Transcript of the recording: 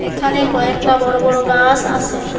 ওখানে কয়েকটা বড় বড় গাস আছে।